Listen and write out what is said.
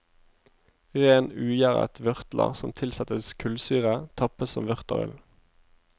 Ren, ugjæret vørter som tilsettes kullsyre tappes som vørterøl.